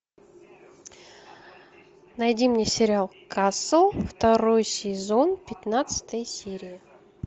найди мне сериал касл второй сезон пятнадцатая серия